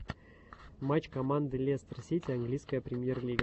матч команды лестер сити английская премьер лига